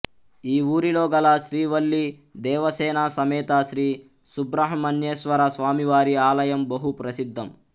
ఈఊరిలో గల శ్రీ వల్లీ దేవసేన సమేత శ్రీ సుబ్రహ్మణ్యేశ్వర స్వామివారి ఆలయం బహు ప్రసిద్దం